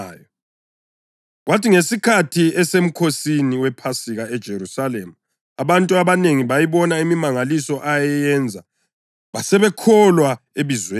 Kwathi ngesikhathi eseMkhosini wePhasika eJerusalema, abantu abanengi bayibona imimangaliso ayeyenza basebekholwa ebizweni lakhe.